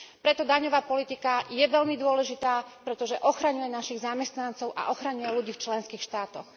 Preto je daňová politika veľmi dôležitá, pretože ochraňuje našich zamestnancov a ochraňuje ľudí v členských štátoch.